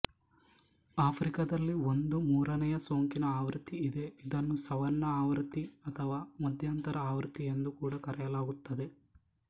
ಆಫ್ರಿಕಾದಲ್ಲಿ ಒಂದು ಮೂರನೇಯ ಸೋಂಕಿನ ಆವೃತ್ತಿ ಇದೆ ಇದನ್ನು ಸವನ್ನಾ ಆವೃತ್ತಿ ಅಥವಾ ಮಧ್ಯಾಂತರ ಆವೃತ್ತಿ ಎಂದು ಕೂಡ ಕರೆಯಲಾಗುತ್ತದೆ